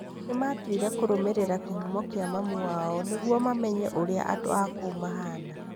Nĩmatwire kũrũmĩrĩra kĩhumo gĩa mami wao nĩgũo mamenye ũrĩa andũ a kũu mahana.